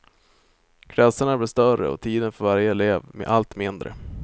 Klasserna blir större och tiden för varje elev allt mindre.